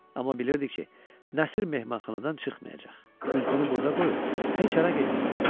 Amma bilirdi ki, Nəsir mehmanxanadan çıxmayacaq, güzgünü burda qoyub heç hara getməyəcək.